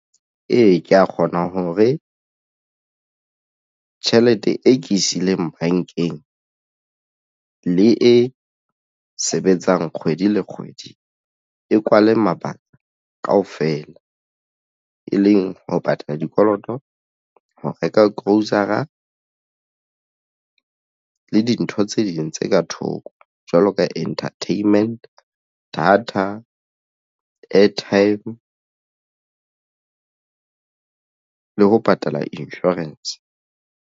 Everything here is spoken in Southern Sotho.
Ee, ke ya kgona hore tjhelete e ke e siileng bankeng le e sebetsang kgwedi le kgwedi e kwale mabaka kaofela e leng ho patala dikoloto ho reka grocery-a le dintho tse ding tse ka thoko jwalo ka entertainment data, airtime le ho patala insurance.